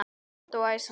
Grannt og æsandi.